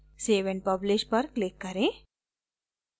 save and publish पर click करें